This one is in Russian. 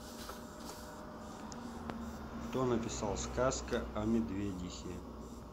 кто написал сказка о медведихе